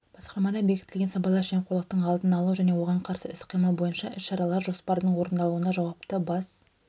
басқармада бекітілген сыбайлас жемқорлықтың алдын алу және оған қарсы іс-қимыл бойынша іс-шаралар жоспарының орындалуына жауапты бас